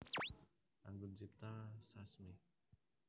Anggun Cipta Sasmi